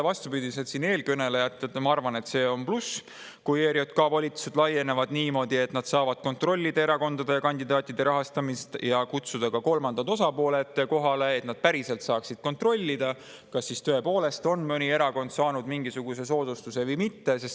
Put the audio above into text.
Vastupidiselt eelkõnelejatele ma arvan, et see on pluss, kui ERJK volitused laienevad niimoodi, et nad saavad kontrollida erakondade ja kandidaatide rahastamist ja kutsuda ka kolmandad osapooled kohale, et nad päriselt saaksid kontrollida, kas siis mõni erakond on tõepoolest saanud mingisuguse soodustuse või mitte.